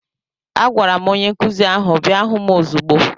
Agwara m onye nkụzi ahụ bịa hụ m ozigbo!